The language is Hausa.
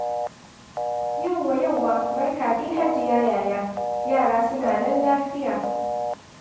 Yawwa, yawwa, barka dai Hajiya Yaya. Yara suna nan lafiya.